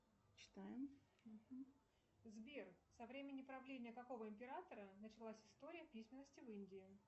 сбер со времени правления какого императора началась история письменности в индии